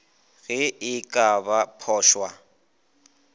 ge e ka ba phošwa